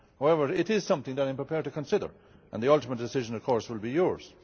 However, it is something that I am prepared to consider, and the ultimate decision, of course, will be